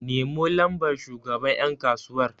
Nemo lambar shugaban yankasuwar!